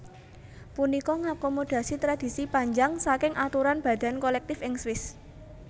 Punika ngakomodasi tradisi panjang saking aturan badan kolektif ing Swiss